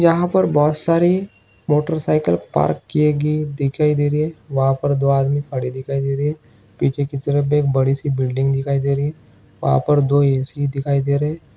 यहाँ पर बहुत सारी मोटरसाइकिल पार्क किये गये दिखाई दे रही है वहाँ पर दो आदमी खड़े दिखाई दे रहे है पीछे की तरफ एक बड़ी सी बिल्डिंग दिखाई दे रही है वहा पर दो ऐ सी दिखाई दे रहे है।